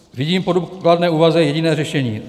Vidím po důkladné úvaze jediné řešení.